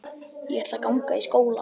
Ég ætla að ganga í skóla.